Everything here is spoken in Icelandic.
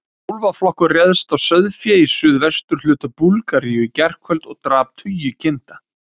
Úlfaflokkur réðst á sauðfé í suðvesturhluta Búlgaríu í gærkvöld og drap tugi kinda.